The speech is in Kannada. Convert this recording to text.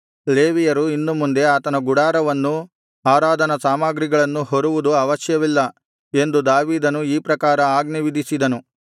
ಲೇವಿಯರು ಇನ್ನು ಮುಂದೆ ಆತನ ಗುಡಾರವನ್ನೂ ಆರಾಧನಾ ಸಾಮಗ್ರಿಗಳನ್ನೂ ಹೊರುವುದು ಅವಶ್ಯವಿಲ್ಲ ಎಂದು ದಾವೀದನು ಈ ಪ್ರಕಾರ ಆಜ್ಞೆ ವಿಧಿಸಿದನು